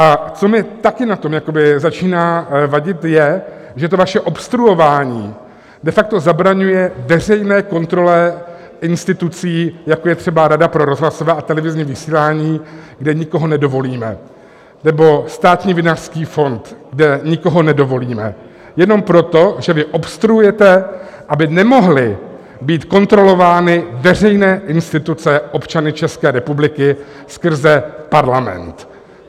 A co mi taky na tom začíná vadit, je, že to vaše obstruování de facto zabraňuje veřejné kontrole institucí, jako je třeba Rada pro rozhlasové a televizní vysílání, kde nikoho nedovolíme, nebo Státní vinařský fond, kde nikoho nedovolíme, jenom proto, že vy obstruujete, aby nemohly být kontrolovány veřejné instituce občany České republiky skrze Parlament.